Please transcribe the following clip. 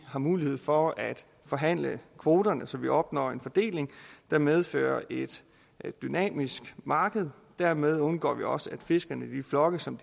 har mulighed for at forhandle kvoterne så vi opnår en fordeling der medfører et dynamisk marked dermed undgår vi også at fiskerne flokkes om